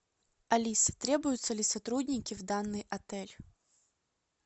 алиса требуются ли сотрудники в данный отель